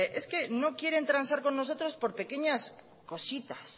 que no quieren transar con nosotros por pequeñas cositas